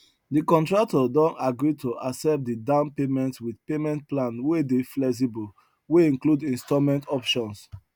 de contractor don agree to accept de down payment wit payment plan wey dey flexible wey include installment options